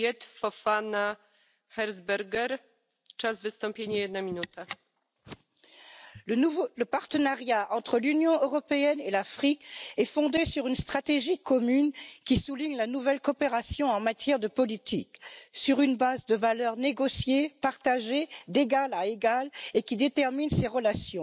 Madame la Présidente, le partenariat entre l'Union européenne et l'Afrique est fondé sur une stratégie commune qui souligne la nouvelle coopération en matière de politique sur une base de valeurs négociée, partagée d'égal à égal, et qui détermine ces relations.